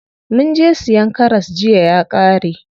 Munje siyan karas jiya ya ƙare.